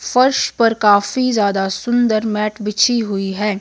फर्श पर काफी ज्यादा सुंदर मैट बिछी हुई है।